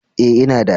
Ee, ina da.